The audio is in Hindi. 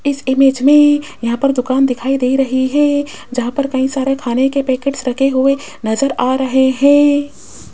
इस इमेज में यहां पर दुकान दिखाई दे रही है जहां पर कई सारे खाने के पैकेट्स रखे हुए नजर आ रहे हैं।